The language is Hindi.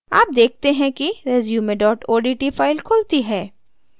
आप देखते हैं कि resume odt file खुलती है